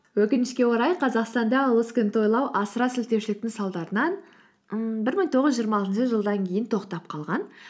өкінішке орай қазақстанда ұлыс күнін тойлау асыра сілтеушіліктің салдарынан ыын бір мың тоғыз жүз жиырма алтыншы жылдан кейін тоқтап қалған